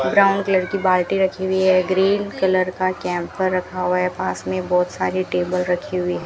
Brown colour की बाल्टी रखी हुई है ग्रीन कलर का कैंपर रखा हुआ है पास में बहुत सारी टेबल रखी हुई है।